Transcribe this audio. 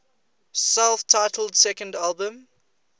self titled second album